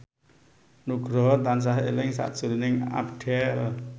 Nugroho tansah eling sakjroning Abdel